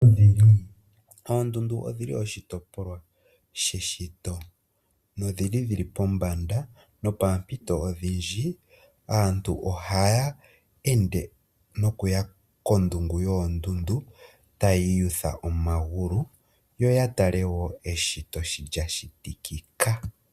Oondundu odhi li oshitopolwa she shito nodhi li pombanda, no poompito odhindji aantu ohaya ende no ku ya kondungu yoondundu, taya iyutha omagulu. Yo ya tale wo eshito shi lya shitikika.